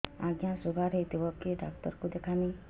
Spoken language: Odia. ଆଜ୍ଞା ଶୁଗାର ହେଇଥିବ କେ ଡାକ୍ତର କୁ ଦେଖାମି